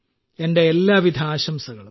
എന്റെ എല്ലാവിധ ആശംസകളും